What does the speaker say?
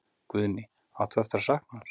Guðný: Átt þú eftir að sakna hans?